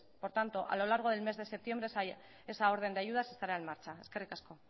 por tanto a lo largo del mes de septiembre esa orden de ayudas estará en marcha eskerrik asko